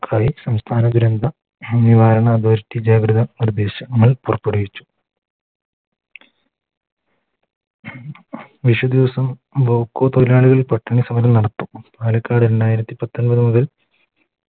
സംസ്ഥാന ദുരന്ത നിവാരണ അതോറിറ്റി ജാഗ്രത നിർദേശം പുറപ്പെടുവിച്ചു വിഷു ദിവസം Bevco തൊഴിലാളികൾ പട്ടിണി സമരം നടത്തും പാലക്കാട് രണ്ടായിരത്തി പത്തൊമ്പത്ത് മുതൽ